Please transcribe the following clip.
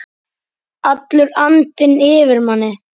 Allur andinn yfir manni.